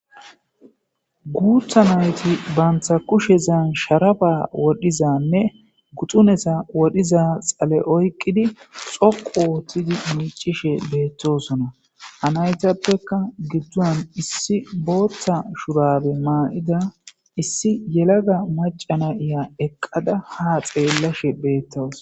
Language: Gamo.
Guutha nayti baantha kushe zaan sharaba wodhizanne guxunesa wodhiza xale oyqqidi xoqu oothtidi miicishe beettosona anaytappeka gidduan issi booththa shurabe maa7ida issi yelaga macana iya eqqada ha xeellashe beettos